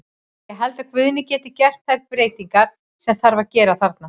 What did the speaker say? Ég held að Guðni geti gert þær breytingar sem þarf að gera þarna.